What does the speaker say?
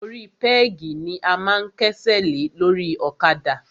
Orí pẹ́gì ni a máa ń kẹ́sẹ̀ lé lórí ọ̀kadà.